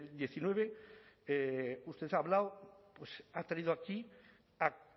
diecinueve usted ha hablado ha traído aquí a